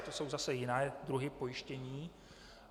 Na to jsou zase jiné druhy pojištění.